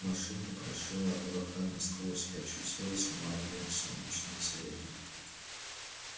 машина прошила облака насквозь и очутилась в мареве солнечного света